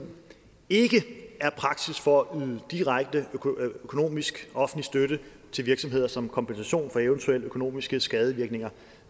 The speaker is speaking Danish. ikke er praksis for at yde direkte økonomisk offentlig støtte til virksomheder som kompensation for eventuelle økonomiske skadevirkninger